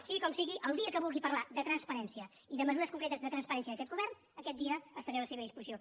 sigui com sigui el dia que vulgui parlar de transparència i de mesures concretes de transparència d’aquest govern aquest dia estaré a la seva disposició